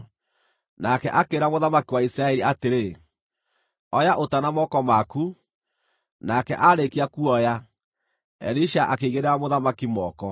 Nake akĩĩra mũthamaki wa Isiraeli atĩrĩ, “Oya ũta na moko maku,” nake aarĩkia kuoya, Elisha akĩigĩrĩra mũthamaki moko.